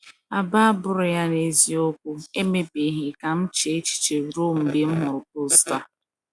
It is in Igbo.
Agba agbụrụ ya n’eziokwu emebeghị ka m chee echiche ruo mgbe m hụrụ post a.